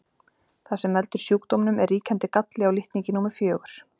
Það sem veldur sjúkdómnum er ríkjandi galli á litningi númer fjögur.